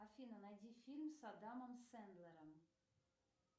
афина найди фильм с адамом сэндлером